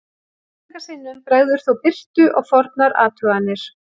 Einstaka sinnum bregður þó birtu á fornar athuganir.